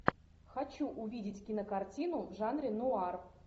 хочу увидеть кинокартину в жанре нуар